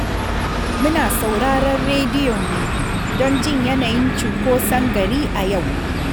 Muna sauraren rediyo ne, don jin yanayin cinkoson gari a yau